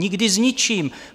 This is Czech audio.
Nikdy s ničím.